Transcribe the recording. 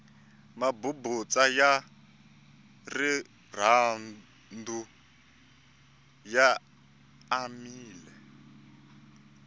mabubutsa ya rirhandu ya anamile